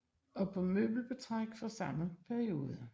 Og på møbelbetræk fra samme perioder